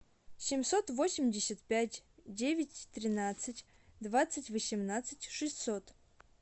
семьсот восемьдесят пять девять тринадцать двадцать восемнадцать шестьсот